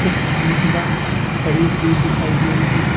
एक महिला खड़ी हुई दिखाई दे रही है।